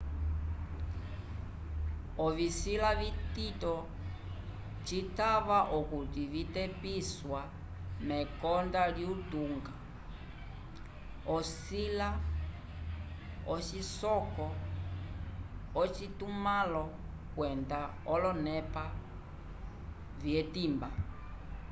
ovisila vitito citava okuti vitepisiwa mekonda lyutunga ocisila ocisoko ocitumãlo kwenda olonepa vyetimba